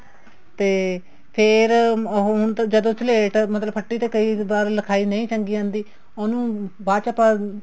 ਤੇ ਫ਼ੇਰ ਉਹ ਹੁਣ ਜਦੋਂ ਸਲੇਟ ਮਤਲਬ ਫੱਟੀ ਤੇ ਕਈ ਵਾਰ ਲਿਖਾਈ ਨਹੀਂ ਚੰਗੀ ਆਉਂਦੀ ਉਹਨੂੰ ਬਾਅਦ ਚ ਆਪਾਂ